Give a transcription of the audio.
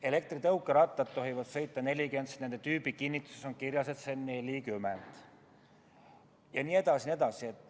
Elektritõukerattad tohivad sõita 40-ga, sest nende tüübikinnituses on kirjas, et nende maksimumkiirus on 40 kilomeetrit tunnis jne.